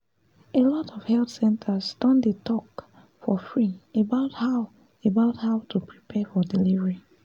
alot of health centers don dey talk for free about how about how to prepare for delivery